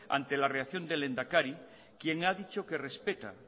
ante la reacción del lehendakari quien ha dicho que respeta